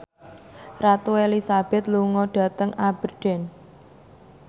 Ratu Elizabeth lunga dhateng Aberdeen